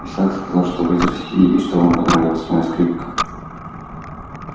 исаак сказал что вы из россии и что вам понравилась моя скрипка